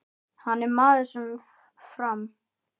Hann er maður sem fram